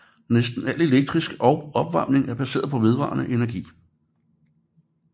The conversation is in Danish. Næsten al elektricitet og opvarmning er baseret på vedvarende energi